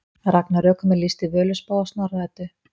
Ragnarökum er lýst í Völuspá og Snorra Eddu.